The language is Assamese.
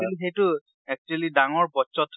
কিন্তু সেইটো actually ডাঙৰ বচ্ছত হয়।